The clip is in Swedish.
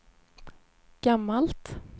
gammalt